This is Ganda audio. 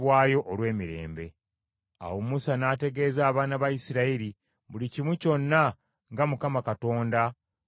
Awo Musa n’ategeeza abaana ba Isirayiri buli kimu kyonna nga Mukama Katonda bwe yamulagira Musa.